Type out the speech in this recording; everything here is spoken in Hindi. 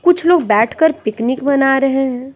कुछ लोग बैठकर पिकनिक बना रहे हैं।